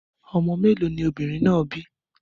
Ọmọ mẹ́lọ̀ ni obìnrin náà bí?